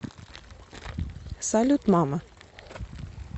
салют мама